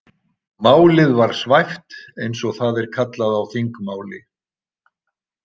Málið var svæft eins og það er kallað á þingmáli.